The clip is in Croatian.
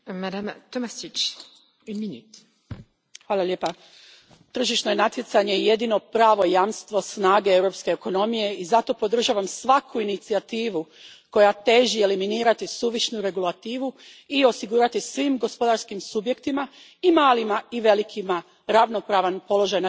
Gospođo predsjednice, tržišno je natjecanje jedino pravo jamstvo snage europske ekonomije i zato podržavam svaku incijativu koja želi eliminirati suvišnu regulativu i osigurati svim gospodarskim subjektima, i malima i velikima, ravnopravan položaj na tržištu.